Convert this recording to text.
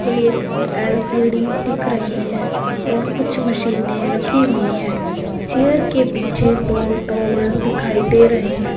एक एल_सी_डी दिख रही है और कुछ मशीने रखी हुई हैं चेयर के पीछे दो टावेल दिखाई दे रहे हैं।